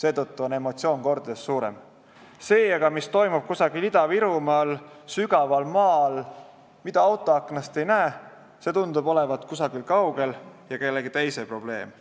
seetõttu on emotsioon mitu korda suurem, see aga, mis toimub kusagil Ida-Virumaal sügaval maa all, mida autoaknast ei näe, tundub olevat kusagil kaugel ja kellegi teise probleem.